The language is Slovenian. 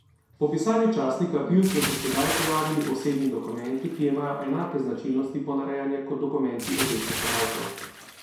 Po pisanju časnika Bild so se sedaj pojavili osebni dokumenti, ki imajo enake značilnosti ponarejanja kot dokumenti obeh napadalcev.